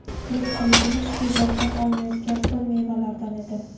Tirikchiligimiz shu bog‘dan olinayotgan ho‘l mevalardan edi.